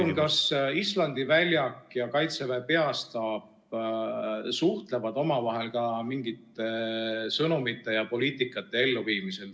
Öelge palun, kas Islandi väljak ja Kaitseväe Peastaap suhtlevad omavahel ka mingite sõnumite edastamisel ja poliitika elluviimisel.